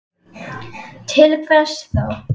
Til hvers þá?